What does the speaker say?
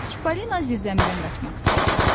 Çipollino zirzəmidən qaçmaq istədi.